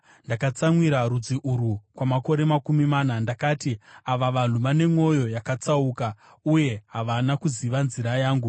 Ndakatsamwira rudzi urwu kwamakore makumi mana; ndakati, “Ava vanhu vane mwoyo yakatsauka, uye havana kuziva nzira dzangu.”